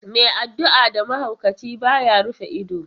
Mai addu'a da mahaukaci, ba ya rufe ido.